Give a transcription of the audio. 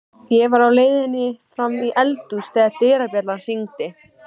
Ég var á leiðinni fram í eldhús þegar dyrabjallan hringdi.